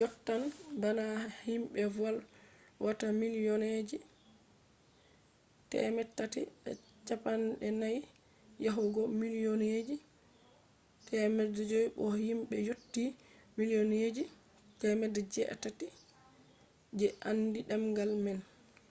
yottan bana himbe volwata milliyonji 340 yahugo milliyonji 500 bo himbe yotti milliyonji 800 je andi demgal man